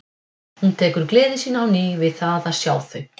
Hún tekur gleði sína á ný við það að sjá þau.